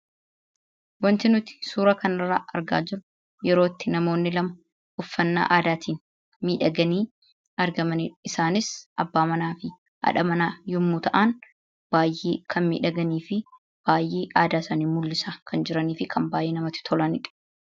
Wanti nuti suura kanarraa argaa jirru, yeroo itti namoonni lama uffannaa aadaatiin miidhaganii argamaniidha. Isaanis abbaa manaafi haadha manaa yommuu ta'an baayyee kan miidhaganiifi baayyee aadaa isaani kan mul'isaa jiraniifi kan baayyee namatti tolanidha.